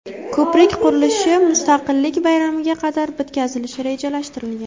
Ko‘prik qurilishi Mustaqillik bayramiga qadar bitkazilishi rejalashtirilgan.